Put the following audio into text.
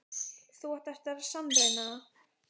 Þú átt eftir að sannreyna það.